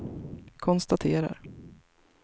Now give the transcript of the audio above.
konstaterar